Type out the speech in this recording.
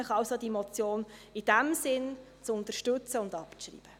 Ich bitte Sie deshalb, diese Motion zu unterstützen und abzuschreiben.